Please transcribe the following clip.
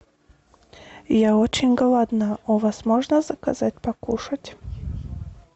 я очень голодна у вас можно заказать покушать